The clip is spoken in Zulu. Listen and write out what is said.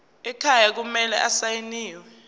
ekhaya kumele asayiniwe